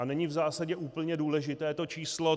A není v zásadě úplně důležité to číslo.